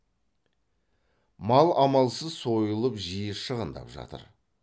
мал амалсыз сойылып жиі шығындап жатыр